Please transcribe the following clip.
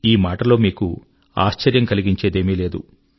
ఈ మాటలో మీకు ఆశ్చర్యం కలిగించేదేమీ లేదు